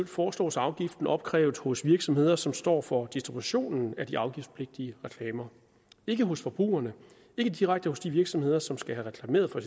foreslås afgiften opkrævet hos de virksomheder som står for distributionen af de afgiftspligtige reklamer ikke hos forbrugerne ikke direkte hos de virksomheder som skal have reklameret for